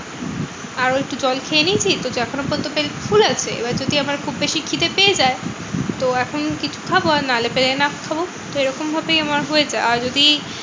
আর ওই একটু জল খেয়ে নিয়েছি তো এখনো পর্যন্ত পেট ফুলে আছে। এবার যদি আমার খুব বেশি খিদে পেয়ে যায়? তো এখন কিছু খাবো। আর নাহলে পেলে না খাবো তো এরকম ভাবেই আমার হয়ে যায়। আর যদি